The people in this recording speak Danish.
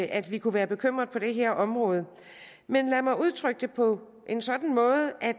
at vi kunne være bekymrede på det her område men lad mig udtrykke det på en sådan måde at